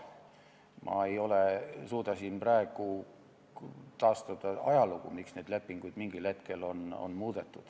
Ma ei suuda siin praegu taastada ajalugu, miks neid lepinguid mingil hetkel muudeti.